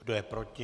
Kdo je proti?